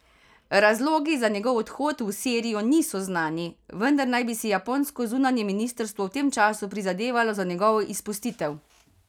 Razlogi za njegov odhod v Sirijo niso znani, vendar naj bi si japonsko zunanje ministrstvo v tem času prizadevalo za njegovo izpustitev.